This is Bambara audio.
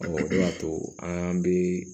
o de y'a to an bɛ